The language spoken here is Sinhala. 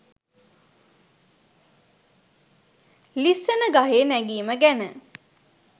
ලිස්සන ගහේ නැගිම ගැන